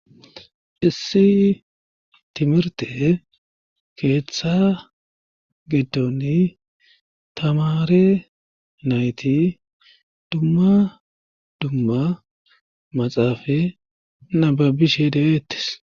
Issi timirte keeththa gidoni tamare nayti dumma dumma maxaafa nababishe deeettis.